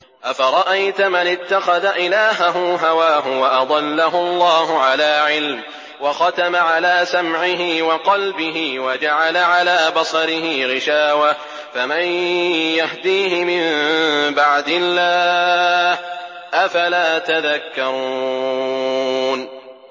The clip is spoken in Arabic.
أَفَرَأَيْتَ مَنِ اتَّخَذَ إِلَٰهَهُ هَوَاهُ وَأَضَلَّهُ اللَّهُ عَلَىٰ عِلْمٍ وَخَتَمَ عَلَىٰ سَمْعِهِ وَقَلْبِهِ وَجَعَلَ عَلَىٰ بَصَرِهِ غِشَاوَةً فَمَن يَهْدِيهِ مِن بَعْدِ اللَّهِ ۚ أَفَلَا تَذَكَّرُونَ